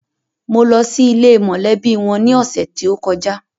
Mo lọ sí ilé e mọ̀lẹ́bí wọn ní ọ̀sẹ̀ tí ó kọjá.